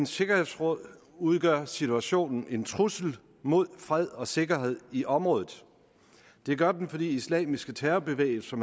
sikkerhedsråd udgør situationen en trussel mod fred og sikkerhed i området det gør den fordi islamiske terrorbevægelser